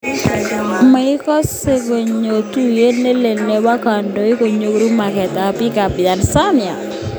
Maikose kogeny tuiyet nelel nebo kandoik konyoru maget ab biik ab Tanzania?